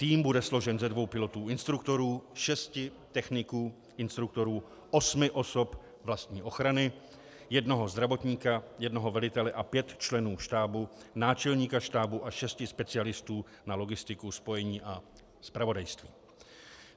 Tým bude složen ze dvou pilotů instruktorů, šesti techniků instruktorů, osmi osob vlastní ochrany, jednoho zdravotníka, jednoho velitele a pěti členů štábu, náčelníka štábu a šesti specialistů na logistiku, spojení a zpravodajství.